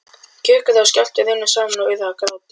Kjökrið og skjálftinn runnu saman og urðu að gráti.